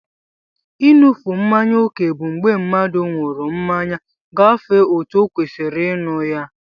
I núfe mmáñyá okè bụ mgbé mmadụ nwụrụ mmanya gafee ọtu okwesiri ịnụ ya.